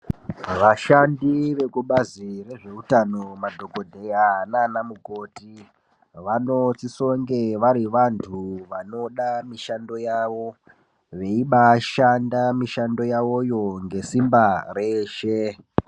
Vashandi vekubazi rezvehutano madhokodheya vanosisa kunge vari vantu vanoda mishando yawo veibashanda mishando yawoyo ngesimba reshe.